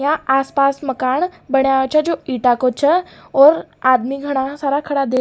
यहाँ आसपास मकान बण्या छ जो ईटा को छ और आदमी गणा सारा खड़ा --